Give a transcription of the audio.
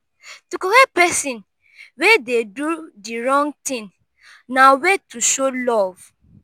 to correct persin wey de do di wrong thing na way to show love